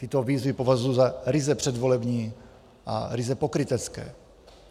Tyto výzvy považuji za ryze předvolební a ryze pokrytecké.